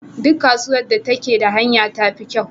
Duk kasuwar da take da hanya tafi kyau.